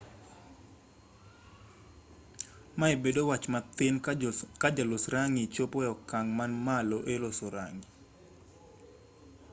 mae bedo wach mathin ka jolos rang'i chopo e okang' man malo eloso rang'i